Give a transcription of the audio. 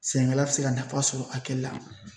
Sɛnɛkɛla bɛ se ka nafa sɔrɔ hakɛ la